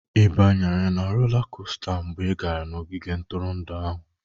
Ị banyere na rola kosta mgbe ị gara n'ogige ntụrụndụ ahụ?